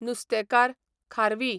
नुस्तेकार, खारवी